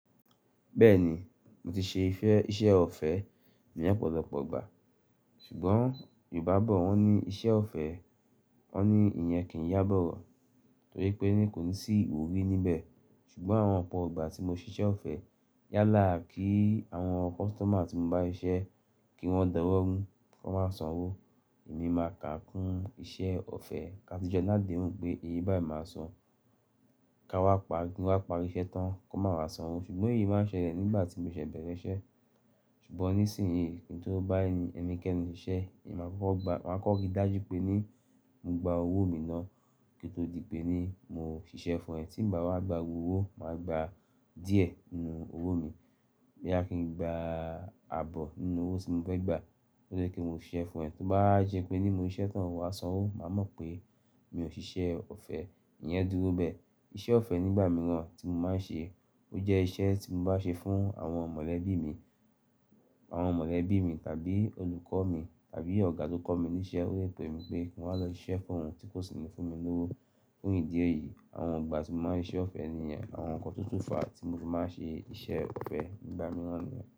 Bẹ́ẹ̀ni, mo ti ṣe iṣẹ́ ọ̀fẹ́ ní ọ̀pọ̀lọpọ̀ ìgbà, ṣùgbọ́n Yorùbá bọ̀ wọ́n ní iṣẹ́ ọ̀fẹ́, wọ́n ní ìyẹn kì í yá bọ̀rọ̀ torí pé ní kò ní sí iwurí níbẹ̀. Ṣùgbọ́n àwọn ọ̀pọ̀ ìgbà tí mo ṣíṣe ọ̀fẹ́ yálà kí àwọn customer tí mo bá iṣẹ́ kí wọ́n dowóru ki wọn máa san owó, èmi máa kà kún iṣẹ́ ọ̀fẹ́ ká ti jọ ni adéhun pé èye báyìí máa san, kí nwá pari iṣẹ́ tán kó máa wá san owó. Ṣùgbọ́n èyí máa ń ṣẹlẹ̀ nígbà tí mo ṣẹ̀ bẹ̀rẹ̀ iṣẹ́. Ṣùgbọ́n nísìnyí kí n tó bá ẹni kẹ́ni ṣe iṣẹ́, èmi máa kọ́ gba, máa kọ́rí dájú pé ní mo gba owó mi náà kí ó tó di pé ní mo ṣiṣẹ́ fún ẹ. Tí nba wá gba gbogbo owó, màá gba díẹ̀ nínú owó mi boya kìn gba ààbọ̀ nínú owó tí mo fẹ́ gbà koto di p mo se iṣẹ́ fún ẹ. Tí ó bá jẹ́ pé ní mo ṣe iṣẹ́ tán, o wà á san owó, màá mọ̀ pé mi ò ṣiṣẹ́ ọ̀fẹ́. Ìyẹn dúró bẹ́ẹ̀. Iṣẹ́ ọ̀fẹ́ nígbà mìíràn tí mo máa ń ṣe, ó jẹ́ iṣẹ́ tí mo bá ṣe fún àwọn mọ̀lẹ́bí mi, àwọn mọ̀lẹ́bí mi tàbí olùkọ́ mi tàbí ọ̀gá tó kọ́ mi níṣẹ́, ó lẹ pé mi pé kí n wá lọ ṣe iṣẹ́ fún òun tí kò sì ní fún mi lówó. Fún ìdí èyí, àwọn ìgbà tí mo máa ń ṣe iṣẹ́ ọ̀fẹ́ níyen, àwọn nǹkan tuntun fa ti mo fi máa ń ṣe iṣẹ́ ọ̀fẹ́ nígbà mìíràn ni.